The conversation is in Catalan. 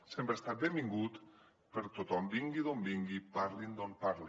sempre ha estat benvingut tothom vingui d’on vingui parli el que parli